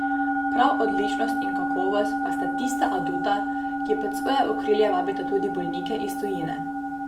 Prav odličnost in kakovost pa sta tista aduta, ki pod svoje okrilje vabita tudi bolnike iz tujine.